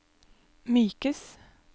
mykes